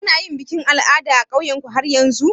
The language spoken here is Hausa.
Ana yin bikin al'ada a ƙauyan ku har yanzu?